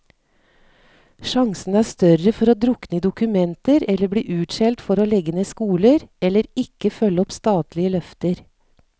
Sjansene er større for å drukne i dokumenter eller bli utskjelt for å legge ned skoler, eller ikke følge opp statlige løfter.